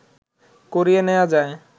করিয়ে নেয়া যায়